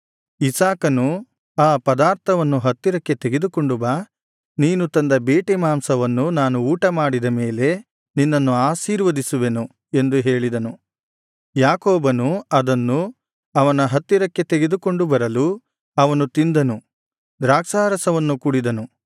ಇಸಾಕನು ಆ ಪದಾರ್ಥವನ್ನು ಹತ್ತಿರಕ್ಕೆ ತೆಗೆದುಕೊಂಡು ಬಾ ನೀನು ತಂದ ಬೇಟೆ ಮಾಂಸವನ್ನು ನಾನು ಊಟಮಾಡಿದ ಮೇಲೆ ನಿನ್ನನ್ನು ಆಶೀರ್ವದಿಸುವೆನು ಎಂದು ಹೇಳಿದನು ಯಾಕೋಬನು ಅದನ್ನು ಅವನ ಹತ್ತಿರಕ್ಕೆ ತೆಗೆದುಕೊಂಡು ಬರಲು ಅವನು ತಿಂದನು ದ್ರಾಕ್ಷಾರಸವನ್ನು ಕುಡಿದನು